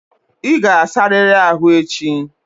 Ị ga-asarịrị ahu echi!